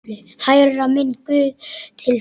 Hærra, minn guð, til þín.